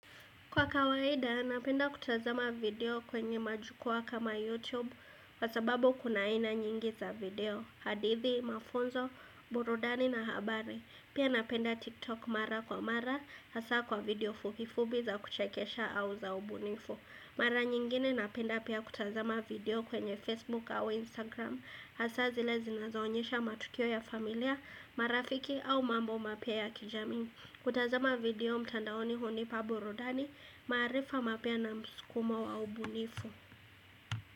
Kwa kawaida, napenda kutazama video kwenye majukwaa kama YouTube Kwa sababu kuna aina nyingi za video hadithi, mafunzo, burudani na habari Pia napenda TikTok mara kwa mara Hasa kwa video fupifupi za kuchekesha au za ubunifu Mara nyingine napenda pia kutazama video kwenye Facebook au Instagram Hasa zile zi nazoonyesha matukio ya familia, marafiki au mambo mapya ya kijamii kutazama video mtandaoni hunipa burudani maarifa mapya na msukumo wa wa ubunifu.